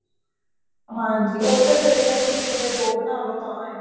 ਹਾਂਜੀ ਉਹ ਤਾਂ ਫ਼ੇਰ ਇਹ ਹੈ ਕੇ ਇੱਕ ਦੇ ਦੋ ਬਣਾਲੋ ਤਾਂ ਹੈ